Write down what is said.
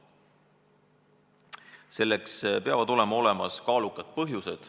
Selleks peavad olema kaalukad põhjused.